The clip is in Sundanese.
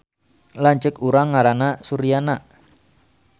Lanceuk urang ngaranna Suryana